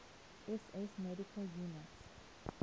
ss medical units